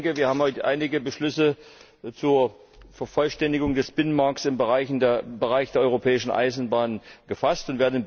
Ich denke, wir haben heute einige Beschlüsse zur Vervollständigung des Binnenmarkts im Bereich der Europäischen Eisenbahn gefasst.